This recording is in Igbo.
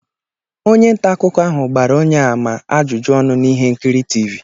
Onye nta akụkọ ahụ gbara onye a ma ama ajụjụ ọnụ na ihe nkiri TV